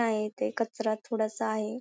हा इथे कचरा थोडासा आहे.